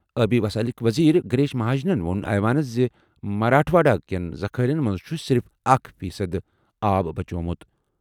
آبی وسائلٕکۍ وزیر گریش مہاجنَن ووٚن ایوانس زِ مراٹھواڑہ کٮ۪ن ذخٲئرَن منٛز چھُ صرف اکھ فی صد آب بَچومُت۔